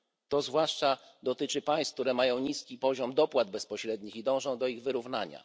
Dotyczy to zwłaszcza państw, które mają niski poziom dopłat bezpośrednich i dążą do ich wyrównania.